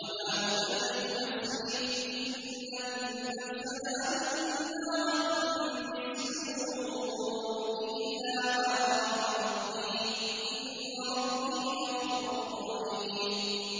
۞ وَمَا أُبَرِّئُ نَفْسِي ۚ إِنَّ النَّفْسَ لَأَمَّارَةٌ بِالسُّوءِ إِلَّا مَا رَحِمَ رَبِّي ۚ إِنَّ رَبِّي غَفُورٌ رَّحِيمٌ